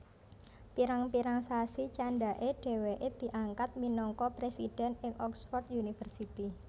Pirang pirang sasi candhake dheweke diangkat minangka presiden ing Oxford University